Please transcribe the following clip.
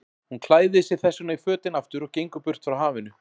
Hún klæðir sig þessvegna í fötin aftur og gengur burt frá hafinu.